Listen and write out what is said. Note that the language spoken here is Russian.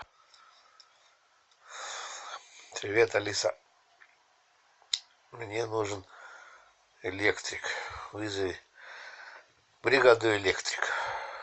привет алиса мне нужен электрик вызови бригаду электриков